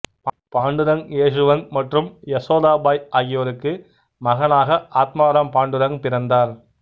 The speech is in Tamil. பாண்டுரங் யேசுவந்த் மற்றும் யசோதாபாய் ஆகியோருக்கு மகனாக ஆத்மராம் பாண்டுரங் பிறந்தார்